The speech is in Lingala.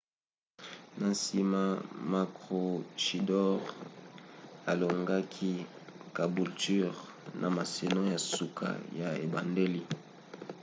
na nsima maroochydore alongaki caboolture na masano ya suka ya ebandeli